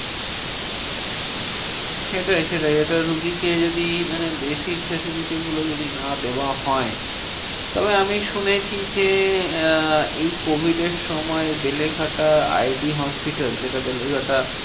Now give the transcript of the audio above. সেটাই সেটাই একটা রুগীকে যদি মানে basic facility গুলো যদি না দেওয়া হয়, তবে আমি শুনেছি যে, আহ এই covid এর সময় বেলেঘাটা আই ডি hospital. যেটা বেলেঘাটা